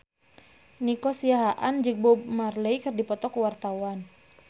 Nico Siahaan jeung Bob Marley keur dipoto ku wartawan